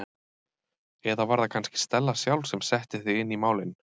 Eða var það kannski Stella sjálf sem setti þig inn í málin?